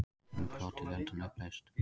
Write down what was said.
Innbrot í Lundann upplýst